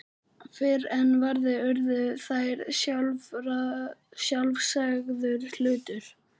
Fyrr en varði urðu þær sjálfsagður hlutur.